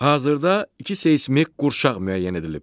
Hazırda iki seysmik qurşaq müəyyən edilib.